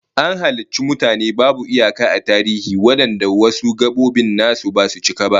An halicci mutane babu iyaka a tarihi wadanda wasu gabobin nasu basu cika ba